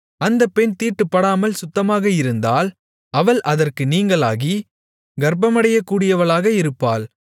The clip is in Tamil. அந்தப் பெண் தீட்டுப்படாமல் சுத்தமாக இருந்தால் அவள் அதற்கு நீங்கலாகி கர்ப்பமடையக்கூடியவளாக இருப்பாள்